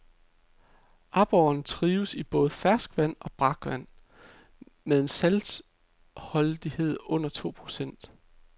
Aborren trives i både ferskvand og brakvand med en saltholdighed under to procent.